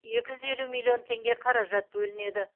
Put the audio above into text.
екі жүз елу миллион теңге қаражат бөлінеді